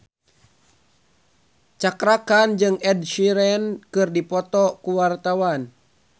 Cakra Khan jeung Ed Sheeran keur dipoto ku wartawan